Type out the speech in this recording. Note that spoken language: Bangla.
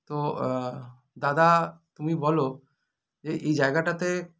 তো আ দাদা তুমি বলো এ এই জায়গাটাতে